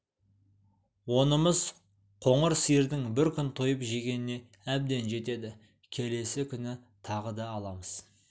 онымыз қоңыр сиырдың бір күп тойып жегеніне әбден жетеді келесі күні тағы да аламыз